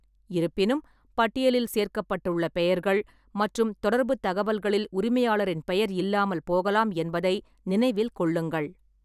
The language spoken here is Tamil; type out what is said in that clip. இருப்பினும், பட்டியலில் சேர்க்கப்பட்டுள்ள பெயர்கள் மற்றும் தொடர்புத் தகவல்களில் உரிமையாளரின் பெயர் இல்லாமல் போகலாம் என்பதை நினைவில் கொள்ளுங்கள்.